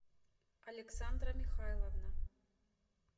александра михайловна